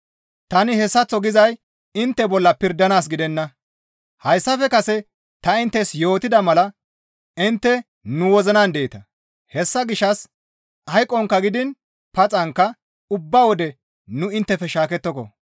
Tani hessaththo gizay intte bolla pirdanaas gidenna; hayssafe kase ta inttes yootida mala intte nu wozinan deeta; hessa gishshas hayqonkka gidiin paxanka ubba wode nu inttefe shaakettoko.